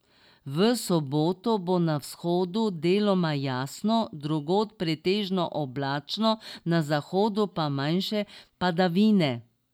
V soboto bo na vzhodu deloma jasno, drugod pretežno oblačno, na zahodu pa manjše padavine.